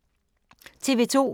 TV 2